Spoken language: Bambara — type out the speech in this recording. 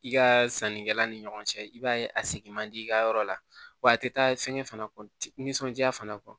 I ka sannikɛla ni ɲɔgɔn cɛ i b'a ye a sigi man di i ka yɔrɔ la wa a tɛ taa fɛn fana kɔ nisɔndiya fana